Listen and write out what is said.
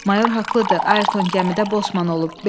Mayor haqlıdır, Ayrton gəmidə Bosman olub.